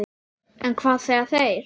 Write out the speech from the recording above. En hvað segja þeir?